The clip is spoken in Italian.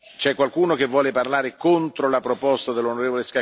C'è qualcuno che vuole parlare contro la proposta dell'on.